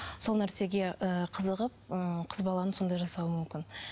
сол нәрсеге ііі қызығып ыыы қыз баланың сондай жасауы мүмкін